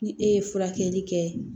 Ni e ye furakɛli kɛ